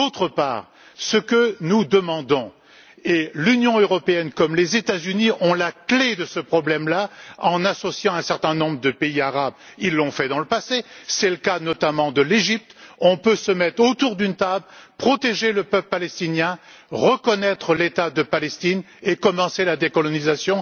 Par ailleurs, ce que nous demandons, et l'Union européenne comme les États Unis ont la clé de ce problème en associant un certain nombre de pays arabes ils l'ont fait dans le passé, c'est le cas notamment de l'Égypte c'est de nous mettre autour d'une table, de protéger le peuple palestinien, de reconnaître l'État de Palestine et de commencer la décolonisation.